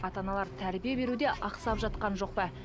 ата аналар тәрбие беруде ақсап жатқан жоқ па